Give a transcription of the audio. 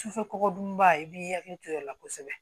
Sufɛ kɔkɔ dunba i b'i hakili to i la kosɛbɛ